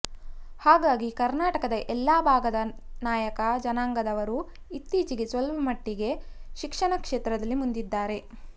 ಹಾಗಾಗಿ ಕರ್ನಾಟಕದ ಎಲ್ಲಾ ಭಾಗದ ನಾಯಕ ಜನಾಂಗದವರು ಇತ್ತೀಚೆಗೆ ಸ್ವಲ್ಪಮಟ್ಟಿಗೆ ಶಿಕ್ಷಣ ಕ್ಷೇತ್ರದಲ್ಲಿ ಮುಂದಿದ್ದಾರೆ